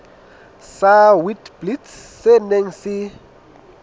sa witblits se neng se